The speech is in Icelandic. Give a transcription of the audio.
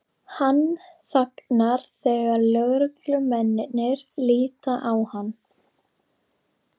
Hann þagnar þegar lögreglumennirnir líta á hann.